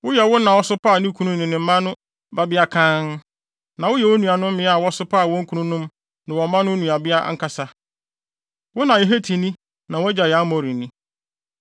Woyɛ wo na a ɔsopaa ne kunu ne ne mma no babea kann, na woyɛ wo nuanom mmea a wɔsopaa wɔn kununom ne wɔn mma no nuabea ankasa. Wo na yɛ Hetini na wʼagya yɛ Amorini.